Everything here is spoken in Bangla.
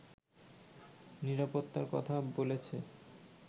নিরাপত্তার কথা বলেছে